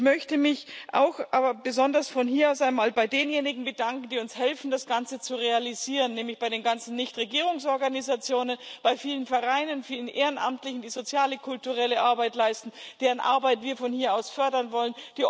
Ich möchte mich auch aber besonders von hier aus einmal bei denjenigen bedanken, die uns helfen, das Ganze zu realisieren nämlich bei den ganzen Nichtregierungsorganisationen, bei vielen Vereinen, vielen Ehrenamtlichen, Opferinstitutionen, die soziale, kulturelle Arbeit leisten, deren Arbeit wir von hier aus fördern wollen.